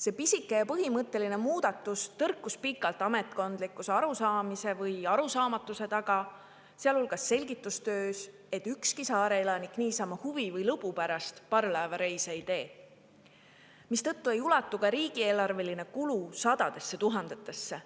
See pisike ja põhimõtteline muudatus tõrkus pikalt ametkondliku arusaamise või arusaamatuse taga, sealhulgas selgitustöös, et ükski saare elanik niisama huvi või lõbu pärast parvlaevareise ei tee, mistõttu ei ulatu ka riigieelarveline kulu sadadesse tuhandetesse.